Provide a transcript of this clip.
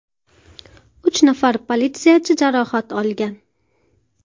Uch nafar politsiyachi jarohat olgan.